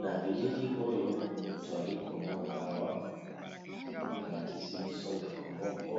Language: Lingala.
Na bilili oyo twali komona awa balakisi biso ndeko moko